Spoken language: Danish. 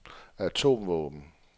atomvåben